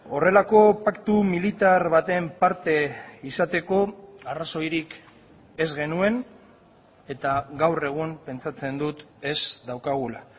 horrelako paktu militar baten parte izateko arrazoirik ez genuen eta gaur egun pentsatzen dut ez daukagula